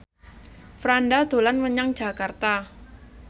Franda dolan menyang Jakarta